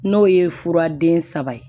N'o ye fura den saba ye